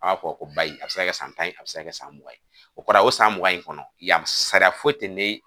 An b'a ko a bi se ka kɛ san tan ye a bi se ka kɛ san mugan ye o kɔrɔ ye o san mugan in kɔnɔ yan sara foyi tɛ ni.